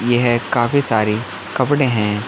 येह काफी सारी कपड़े है।